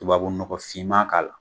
Tubabu nɔgɔ finman k'a la.